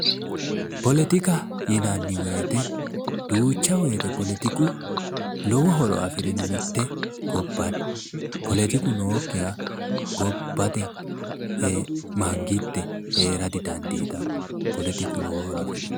Politika yinanni woyte duucha woyte lowo horo afirino mitte gobba politiku nookkiha gobba manitte hee'ra didandiitanno, politiku lowo horo afirino